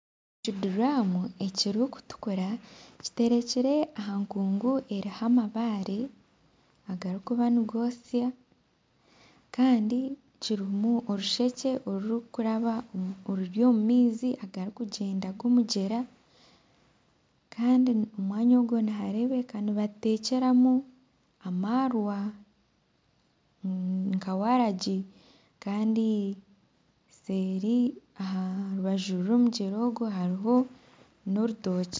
Ekiduramu ekirikutukura kiterekire aha nkungu eriho amabare agarikuba nigotsya Kandi kirimu orushekye orurikuraba omu maizi agarikugyenda g'omugyera Kandi omwanya ogu niharebeka nibatekyeramu amarwa nka waragi Kandi seeri aha rubaju rw'omugyera ogu hariho n'orutookye.